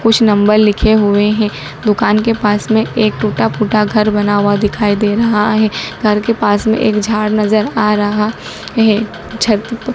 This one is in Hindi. कुछ नंबर लिखे हुए हैं दुकान के पास में एक टूटा फूटा घर बना हुआ दिखाई दे रहा है घर के पास में एक झाड़ नज़र आ रहा है छत प प --